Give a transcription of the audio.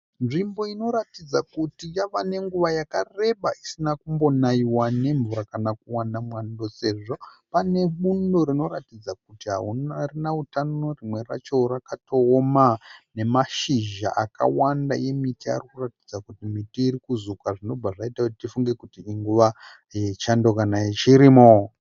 Nzvimbo inoratidza kuti yava nenguva yakareba isina kumbonaiwa nemvura kana kuwana mwando sezvo pane bundo rinoratidza kuti harina utano rimwe racho rakatooma. Nemashizha akawanda emiti arikuratidza kuti miti irikuzuka zvinobva zvaita kuti tifunge kuti inguva yechando kana yechirimo.